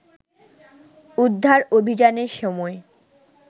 উদ্ধার অভিযানের সময়